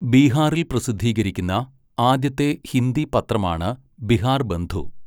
ബീഹാറിൽ പ്രസിദ്ധീകരിക്കുന്ന ആദ്യത്തെ ഹിന്ദി പത്രമാണ് 'ബിഹാർബന്ധു.'